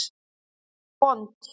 Hún er vond.